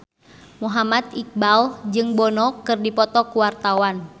Muhammad Iqbal jeung Bono keur dipoto ku wartawan